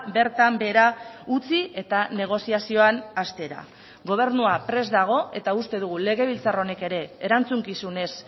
bertan behera utzi eta negoziazioan hastera gobernua prest dago eta uste dugu legebiltzar honek ere erantzukizunez